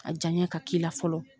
A diyaɲa ka k'i la fɔlɔ.